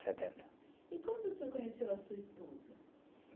Setenta. E quando o senhor conheceu a sua esposa?